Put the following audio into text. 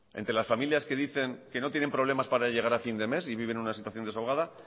entre las familias que dicen que no tienen problemas para llegar a fin de mes y viven una situación desahogada